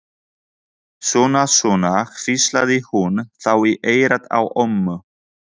Svona, svona hvíslaði hún þá í eyrað á ömmu.